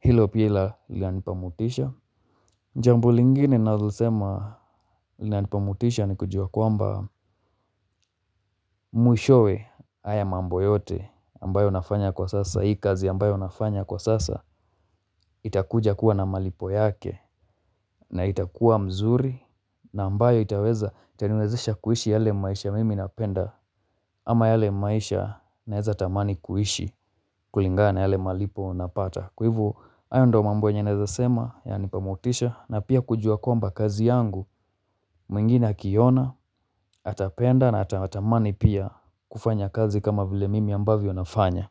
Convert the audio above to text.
hilo pila lanipa motisha jambo lingine nalo sema linanipa motisha ni kujua kwamba mwishoe haya mambo yote ambayo nafanya kwa sasa hii kazi ambayo nafanya kwa sasa itakuja kuwa na malipo yake na itakuwa mzuri na ambayo itaweza itaniwezesha kuishi yale maisha mimi napenda ama yale maisha naeza tamani kuishi kulingana yale malipo napata. Kwa ivo ayo ndo mambo yenye naeza sema yanipa motisha na pia kujua kwamba kazi yangu mwingine akiona, atapenda na atamani pia kufanya kazi kama vile mimi ambavyo nafanya.